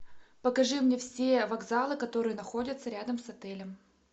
покажи мне все вокзалы которые находятся рядом с отелем